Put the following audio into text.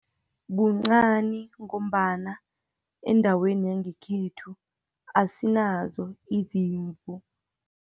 Kuncani, ngombana endaweni yangekhethu asinazo izimvu.